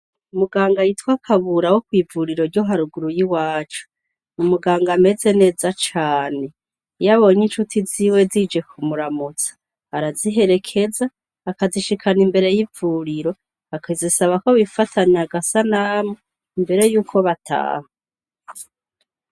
Umuganga yitwa Kabura wo kw'ivuriro ryo haruguru y'iwacu, ni umuganga ameze neza cane. Iyo abonye incuti ziwe zije kumuramutsa, araziherekeza, akazishikana imbere y'ivuriro. Akazisaba ko bifatozanya agasanamu, imbere y'uko bataha.